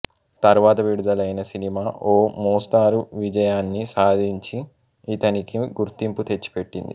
తర్వాత విడుదలైన సినిమా ఓ మోస్తరు విజయాన్ని సాధించి ఇతనికి గుర్తింపు తెచ్చిపెట్టింది